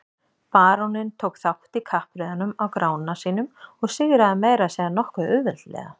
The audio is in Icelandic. Baróninn tók þátt í kappreiðunum á Grána sínum og sigraði meira að segja nokkuð auðveldlega.